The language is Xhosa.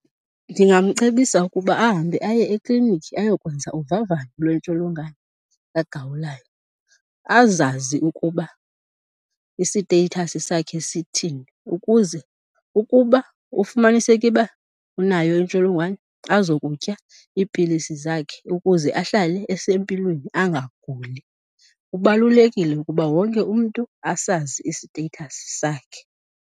Ndingamcebisa ukuba ahambe aye ekliniki ayokwenza uvavanyo lwentsholongwane kaGawulayo azazi ukuba isiteyithasi sakhe sithini ukuze ukuba ufumaniseke uba unayo intsholongwane azokutya iipilisi zakhe ukuze ahlale esempilweni anganguli. Kubalulekile ukuba wonke umntu asazi isiteyithasi sakhe.